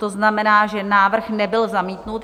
To znamená, že návrh nebyl zamítnut.